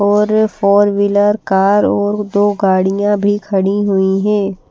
और four wheeler car और दो गाड़ियां भी खड़ी हुई हैं।